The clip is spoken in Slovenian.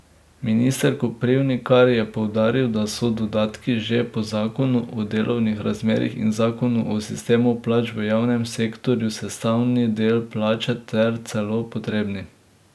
Minister Koprivnikar je poudaril, da so dodatki že po zakonu o delovnih razmerjih in zakonu o sistemu plač v javnem sektorju sestavni del plače ter celo potrebni.